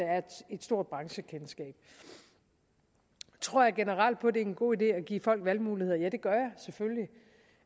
er et stor branchekendskab tror jeg generelt på det er en god idé at give folk valgmuligheder ja det gør